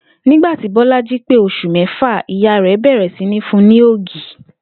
Nígbà tí Bó̩lájí pé os̩ù mé̩fà, ìyá rè̩ bè̩rè̩ sí ní fun ní ògì